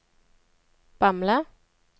Bamble